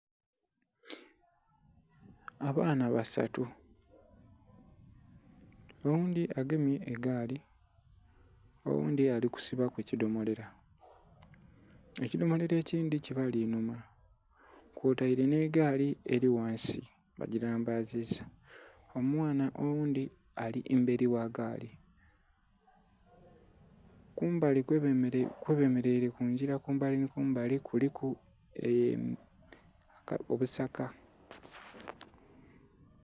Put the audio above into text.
Abaana basatu oghundhi agemye egaali oghundhi ali kusibaku kidhomolo ekidhomolo ekindhi kibali inhuma kwoteire nhe gaali eri ghansi ba gilambaziza, omwaana oghundhi ali m eri gha gaali. Kumbali kwe bemereire kungila kumbali nhi kumbali kuliku ebisaka.